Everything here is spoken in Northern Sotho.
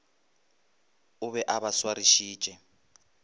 o be a ba swarišitše